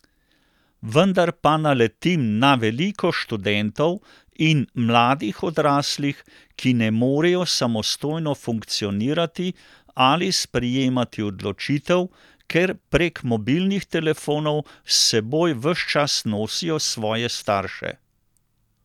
Vendar pa naletim na veliko študentov in mladih odraslih, ki ne morejo samostojno funkcionirati ali sprejemati odločitev, ker prek mobilnih telefonov s seboj ves čas nosijo svoje starše.